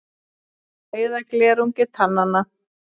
Þær eyða glerungi tannanna.